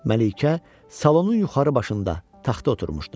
Məlikə salonun yuxarı başında taxta oturmuşdu.